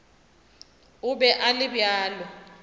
o be a le bjalo